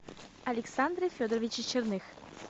александре федоровиче черных